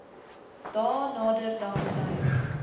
dae nader danksy